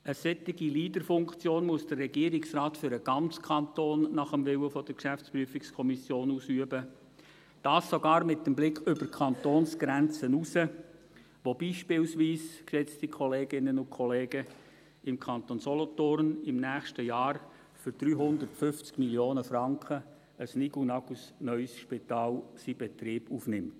Eine solche Leader-Funktion muss der Regierungsrat nach dem Willen der GPK für den ganzen Kanton ausüben, dies sogar mit dem Blick über die Kantonsgrenzen hinaus, wo beispielsweise im Kanton Solothurn, geschätzte Kolleginnen und Kollegen, im nächsten Jahr für 350 Mio. Franken ein nigelnagelneues Spital seinen Betrieb aufnimmt.